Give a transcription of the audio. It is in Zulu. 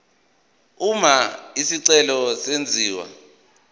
uma isicelo senziwa